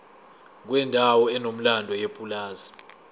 kwendawo enomlando yepulazi